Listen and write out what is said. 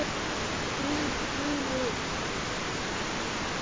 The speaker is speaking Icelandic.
Gríp gula tuðru.